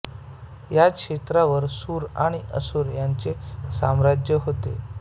याच क्षेत्राावर सुर आणि असुर यांचे साम्राज्य होते